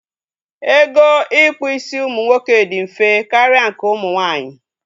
Ego ịkpụ isi ụmụ nwoke dị mfe karịa nke ụmụ nwaanyị